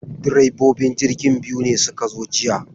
Direbobin jirgin biyu ne suka zo jiya.